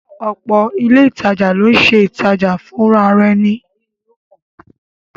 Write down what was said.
Ọ̀pọ̀ ilé ìtajà ńlá ló ń ṣe ìtajà fùnrarẹni